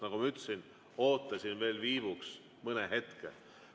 Nagu ma ütlesin, ootasin veel mõne hetke.